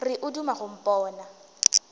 re o duma go mpona